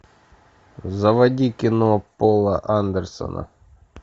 заводи кино пола андерсона